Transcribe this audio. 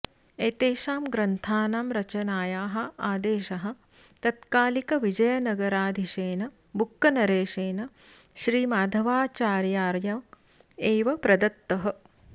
एतेषां ग्रन्थानां रचनायाः अादेशः तत्कालिकविजयनगराधीशेन बुक्कनरेशेन श्रीमाधवाचार्यार्य एव प्रदत्तः